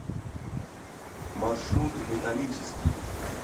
маршрут ботанический